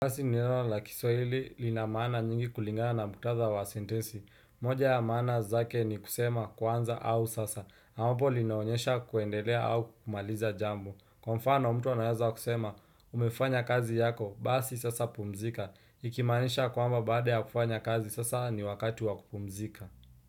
Basi ni neno la kiswahili linamaana nyingi kulingana na muktadha wa sentensi. Moja ya maana zake ni kusema kuanza au sasa. Ambapo linaonyesha kuendelea au kumaliza jambo. Kwa mfano mtu anawaza kusema umefanya kazi yako basi sasa pumzika. Ikimaanisha kwamba baada ya kufanya kazi sasa ni wakati wa kupumzika.